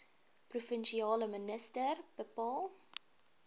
provinsiale minister bepaal